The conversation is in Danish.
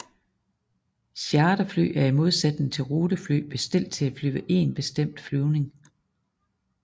Charterfly er i modsætning til rutefly bestilt til at flyve én bestemt flyvning